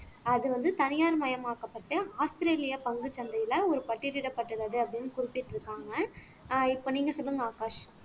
அது வந்து தனியார் மயமாக்கப்பட்டு ஆஸ்திரேலியா பங்குச்சந்தையில ஒரு பட்டியலிடப்பட்டுள்ளது அப்படின்னு குறிப்பிட்டு இருக்காங்க ஆஹ் இப்ப நீங்க சொல்லுங்க ஆகாஷ்